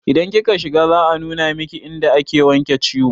Idan kika shiga za a nuna miki inda ake wanke ciwo